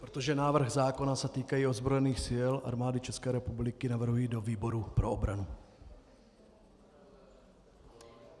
Protože návrh zákona se týká i ozbrojených sil Armády České republiky, navrhuji do výboru pro obranu.